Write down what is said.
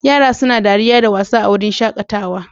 Yara suna dariya da wasa a wurin shakatawa